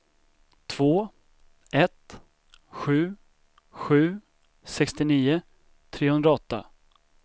två ett sju sju sextionio trehundraåtta